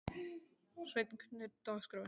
Sveinn, hvernig er dagskráin?